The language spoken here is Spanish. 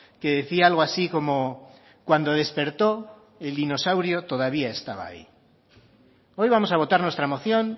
que decía algo así como cuando despertó el dinosaurio todavía estaba ahí hoy vamos a votar nuestra moción